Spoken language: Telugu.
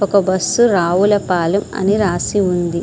ఒక బస్సు రావులపాలెం అని రాసి ఉంది.